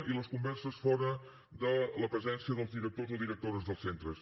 i les converses fora de la presència dels directors o directores dels centres